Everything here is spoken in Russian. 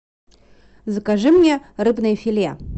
закажи мне рыбное филе